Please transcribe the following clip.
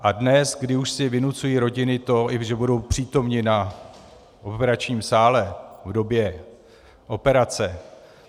A dnes, kdy už si vynucují rodiny i to, že budou přítomny na operačním sále v době operace...